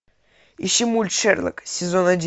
ищи мульт шерлок сезон один